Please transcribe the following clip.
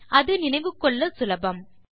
அது நினைவு கொள்ள சுலபம்